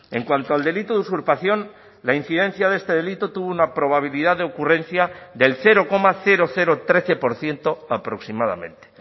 en cuanto al delito de usurpación la incidencia de este delito tuvo una probabilidad de ocurrencia del cero coma trece por ciento aproximadamente